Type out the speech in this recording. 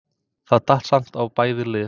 Það datt samt á bæði lið.